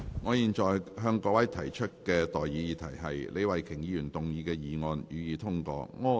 我現在向各位提出的待議議題是：李慧琼議員動議的議案，予以通過。